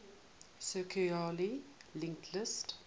circularly linked list